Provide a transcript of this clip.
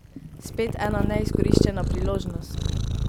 Spet ena neizkoriščena priložnost.